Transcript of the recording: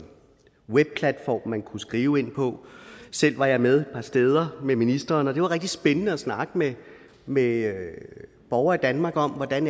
webplatform man kunne skrive på selv var jeg med steder med ministeren og det var rigtig spændende at snakke med med borgere i danmark om hvordan